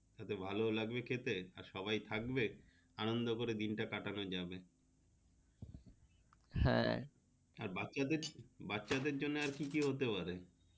এত ভালো লাগবে খেতে আর সবাই থাকবে আনন্দ করে দিনটা কাটানো যাবে হ্যাঁ আর বাচ্চা বাচ্চাদের জন্য কি কি হতে পারে।